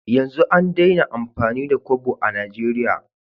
Yanzu an Daina amfani da Kobo a nigeria